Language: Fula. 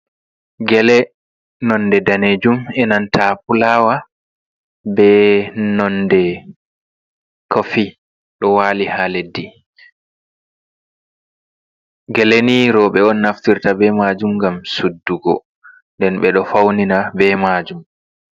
Gele nonde danejum enanta fulawa be nonde kofi ɗo wali ha leddi, geleni roɓe on naftirta be majum gam suddugo nden ɓe ɗo faunina be majum.